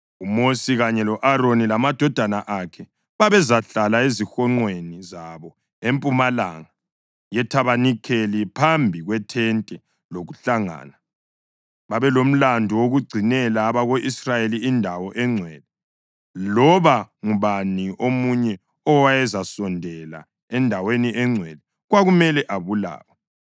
UMosi kanye lo-Aroni lamadodana akhe babezahlala ezihonqweni zabo empumalanga yethabanikeli, phambi kwethente lokuhlangana. Babelomlandu wokugcinela abako-Israyeli indawo engcwele. Loba ngubani omunye owayezasondela endaweni engcwele kwakumele abulawe.